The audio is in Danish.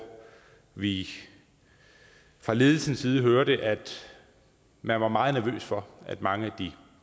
vi fra ledelsens side hørte at man var meget nervøs for at mange af de